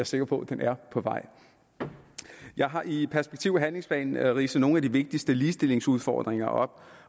sikker på at den er på vej jeg har i perspektiv og handlingsplanen ridset nogle af de vigtigste ligestillingsudfordringer op